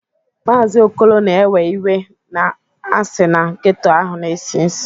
Maazị Okolo na-ewe iwe na a sị na geto ahụ na-esi nsi